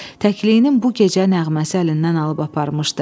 Təkliyinin bu gecə nəğməsi əlindən alıb aparmışdı.